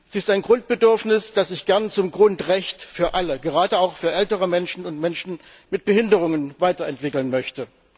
Sie ist ein Grundbedürfnis, das ich gern zum Grundrecht für alle, gerade auch für ältere Menschen und Menschen mit Behinderungen, weiterentwickeln möchte.